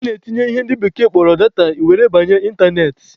A na-etinye ihe ndị oyibo kpọrọ 'data' were na-abanye ịntanetị.